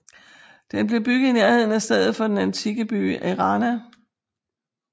Den blev bygget i nærheden af stedet for den antikke by Erana